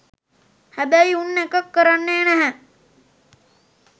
හැබයි උන් එක කරන්නේ නැහැ